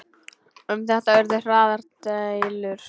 Um þetta urðu harðar deilur.